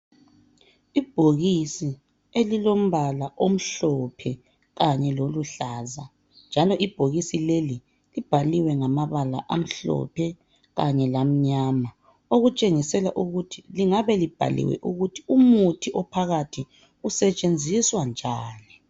Ibhokisi elilombala omhlophe kanye loluhlaza njalo ibhokisi leli libhaliwe ngamabala amhlophe kanye lamnyama, okutshengisela ukuthi lingabe libhaliwe ukuthi umuthi ophakathi usetshenziswa njani.